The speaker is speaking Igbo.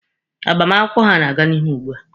Agbamakwụkwọ ha na-aga n'ihu ugbua.